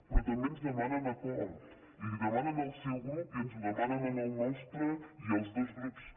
però també ens demanen acord i l’hi demanen al seu grup i ens el demanen al nostre i als dos grups